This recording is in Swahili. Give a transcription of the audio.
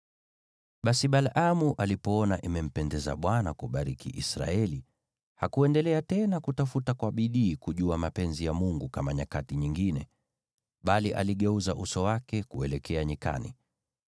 Basi Balaamu alipoona imempendeza Bwana kubariki Israeli, hakuendelea tena kutafuta uchawi kama nyakati nyingine, bali aligeuza uso wake kuelekea nyikani.